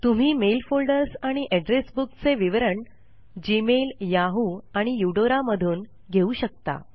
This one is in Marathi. तुम्ही मेल फोल्डर्स आणि एड्रेस बुक चे विवरण जीमेल याहू आणि युडोरा मधून घेऊ शकता